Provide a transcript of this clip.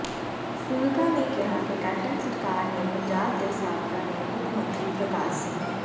ਫੂਲਕਾ ਨੇ ਕਿਹਾ ਕਿ ਕੈਪਟਨ ਸਰਕਾਰ ਨੇ ਪੰਜਾਬ ਦੇ ਸਾਬਕਾ ਨੇ ਮੁੱਖ ਮੰਤਰੀ ਪ੍ਰਕਾਸ਼ ਸਿੰਘ